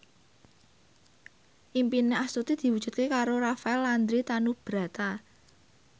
impine Astuti diwujudke karo Rafael Landry Tanubrata